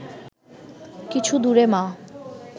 কিছু দূরে মা